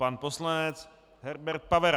Pan poslanec Herbert Pavera.